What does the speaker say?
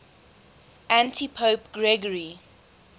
antipope gregory